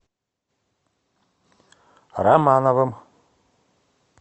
романовым